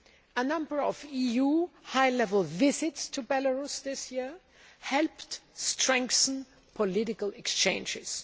A number of EU high level visits to Belarus this year helped strengthen political exchanges.